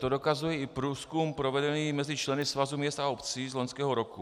To dokazuje i průzkum provedený mezi členy Svazu měst a obcí z loňského roku.